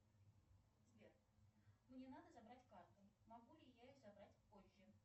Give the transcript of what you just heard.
сбер мне надо забрать карту могу ли я ее забрать позже